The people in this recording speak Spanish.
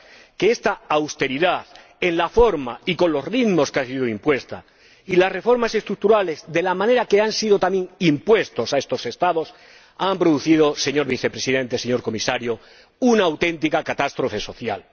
Que esta austeridad —en la forma y con los ritmos con que ha sido impuesta— y las reformas estructurales —por la manera en que también han sido impuestas a estos Estados— han producido, señor Vicepresidente, señor Comisario, una auténtica catástrofe social.